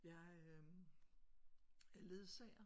Jeg øh er ledsager